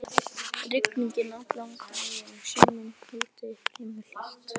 Rigning allan daginn, sunnan kaldi, fremur hlýtt.